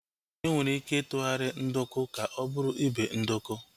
Enwere ike itughari nduku ka ọ bụrụ ibe nduku